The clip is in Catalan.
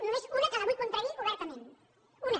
només una que la vull contradir obertament una